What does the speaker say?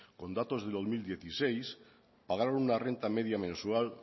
con datos de dos mil dieciséis pagaron una renta media mensual